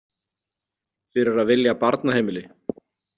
Fyrir að vilja barnaheimili.